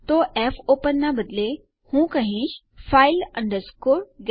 તો ફોપેન ના બદલે હું કહીશ file get contents